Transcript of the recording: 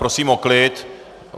Prosím o klid.